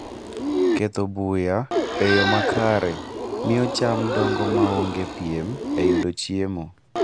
Ketho buya e yo makare miyo cham dongo maonge piem e yudo chiemo.